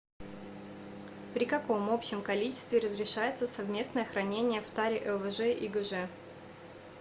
при каком общем количестве разрешается совместное хранение в таре лвж и гж